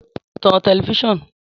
Tọ̀n tẹlifisiọnu!